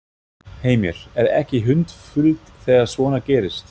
Heimir: Er ekki hundfúlt þegar svona gerist?